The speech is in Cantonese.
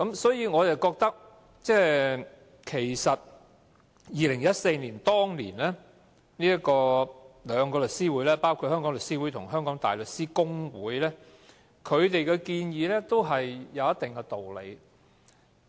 所以，我認為包括香港律師會和香港大律師公會這兩個律師團體在2014年的建議也有一定的道理。